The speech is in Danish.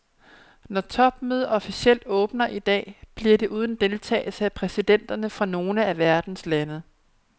Når det topmødet officielt åbner i dag, bliver det uden deltagelse af præsidenterne fra nogle af verdens lande.